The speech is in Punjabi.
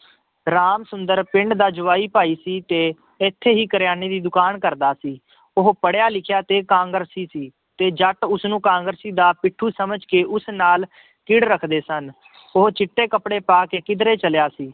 ਰਾਮ ਸੁੰਦਰ ਪਿੰਡ ਦਾ ਜਵਾਈ ਭਾਈ ਸੀ ਤੇ ਇੱਥੇ ਹੀ ਕਰਿਆਨੇ ਦੀ ਦੁਕਾਨ ਕਰਦਾ ਸੀ, ਉਹ ਪੜ੍ਹਿਆ ਲਿਖਿਆ ਤੇ ਕਾਂਗਰਸੀ ਸੀ ਤੇ ਜੱਟ ਉਸਨੂੰ ਕਾਂਗਰਸੀ ਦਾ ਪਿੱਠੂ ਸਮਝ ਕੇ ਉਸ ਨਾਲ ਹਿੱੜ ਰੱਖਦੇ ਸਨ ਉਹ ਚਿੱਟੇ ਕੱਪੜੇ ਪਾ ਕੇ ਕਿੱਧਰੇ ਚੱਲਿਆ ਸੀ